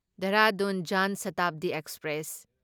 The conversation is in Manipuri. ꯗꯦꯍꯔꯥꯗꯨꯟ ꯖꯥꯟ ꯁꯥꯇꯥꯕꯗꯤ ꯑꯦꯛꯁꯄ꯭ꯔꯦꯁ